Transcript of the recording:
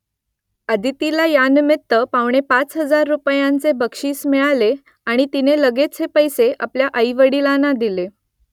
अदितीला यानिमित्त पावणेपाच हजार रुपयांचे भरघोस बक्षीस मिळाले आणि तिने लगेच हे पैसे आपल्या आईवडिलांना दिले